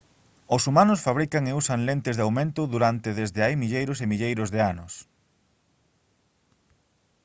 os humanos fabrican e usan lentes de aumento durante desde hai milleiros e milleiros de anos